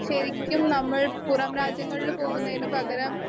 speaker 1 ശരിക്കും നമ്മൾ പുറംരാജ്യങ്ങളിൽ പോകുന്നതിന് പകരം